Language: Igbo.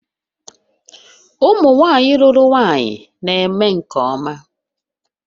Ụmụ nwanyị lụrụ nwanyị na-eme nke ọma